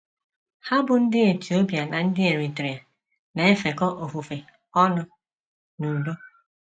Ha bụ́ ndị Etiopia na ndị Eritrea na - efekọ ofufe ọnụ n’udo